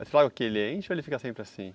É só porque enche ou ele fica sempre assim?